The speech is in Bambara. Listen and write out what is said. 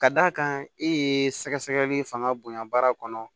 Ka d'a kan e ye sɛgɛsɛgɛli fanga bonya baara kɔnɔ